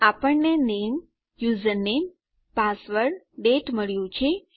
આપણને નામે username password દાતે મળ્યું છે